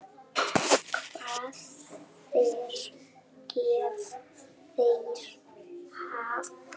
Hver gaf þér það?